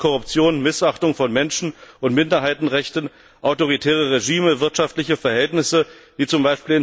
Armut, Korruption, Missachtung von Menschen und Minderheitenrechten, autoritäre Regime, wirtschaftliche Verhältnisse wie z.